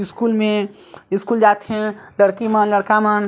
school मे school जाथे लड़की मन लड़का मन--